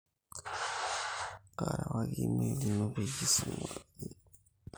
kaarewaki email ino peyie isuma eningo tenias registration